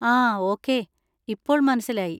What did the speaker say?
ആ ഓക്കേ, ഇപ്പോൾ മനസ്സിലായി.